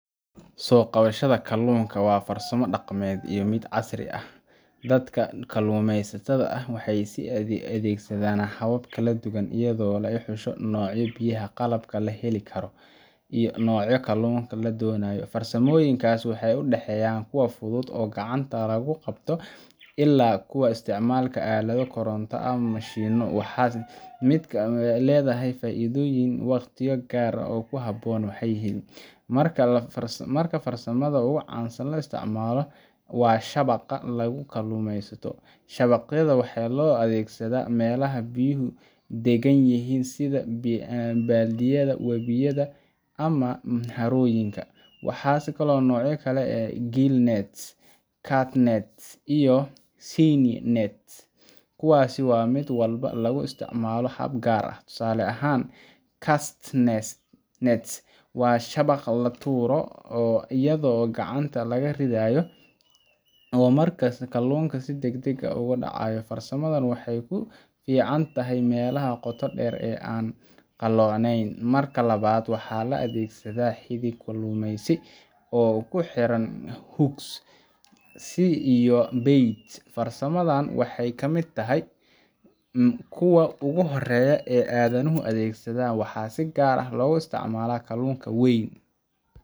Soo qabashada kalluunka waa farsamo dhaqameed iyo mid casri ahba oo dadka kalluumaysatada ahi ay u adeegsadaan habab kala duwan, iyadoo lagu xusho nooca biyaha, qalabka la heli karo, iyo nooca kalluunka la doonayo. Farsamooyinkaas waxay u dhexeeyaan kuwa fudud oo gacanta lagu qabto ilaa kuwa isticmaala aalado koronto ama mashiinno, waxaana mid kasta leeyahay faa’iidooyin iyo waqtiyo gaar ah oo uu ku habboon yahay. Marka hore, farsamada ugu caansan ee la isticmaalo waa shabagga lagu kalluumaysto. Shabaqyada waxaa loo adeegsadaa meelaha biyuhu deggan yihiin sida balliyada, webiyada ama harooyinka. Waxaa jira noocyo badan sida gill nets, cast nets, iyo seine nets, kuwaas oo mid walba lagu isticmaalo hab gaar ah. Tusaale ahaan, cast net waa shabaq la tuuro iyadoo gacanta laga ridayo oo markaas kalluunka si degdeg ah ugu dhacayo. Farsamadani waxay ku fiican tahay meelaha qoto dheer ee aan qalloocnayn. Marka labaad, waxaa la adeegsadaa xadhig kalluumaysi oo uu ku xiranyahay hook iyo bait. Farsamadan waxay ka mid tahay kuwa ugu horeeya ee aadanuhu adeegsaday, waxaana si gaar ah loogu isticmaalaa kalluunka weyn